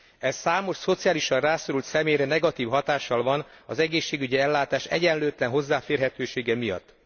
Ez számos szociálisan rászorult személyre negatív hatással van az egészségügyi ellátás egyenlőtlen hozzáférhetősége miatt.